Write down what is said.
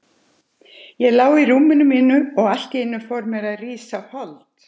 Ég lá í rúmi mínu og allt í einu fór mér að rísa hold.